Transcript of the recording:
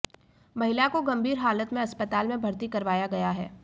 महिला को गंभीर हालत में अस्पताल में भर्ती करवाया गया है